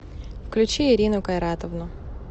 включи ирину кайратовну